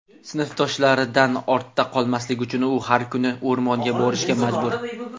Sinfdoshlaridan ortda qolmaslik uchun u har kuni o‘rmonga borishga majbur.